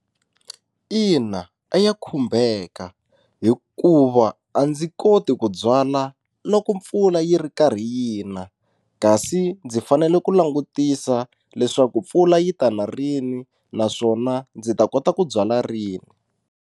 Ina a ya khumbeka hikuva a ndzi koti ku byala loko mpfula yi ri karhi yina kasi ndzi fanele ku langutisa leswaku mpfula yi ta na rini naswona ndzi ta kota ku byala rini.